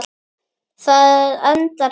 Það endar svona